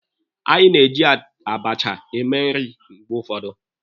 Anyị na-eji abacha eme nri ụfọdụ mgbe.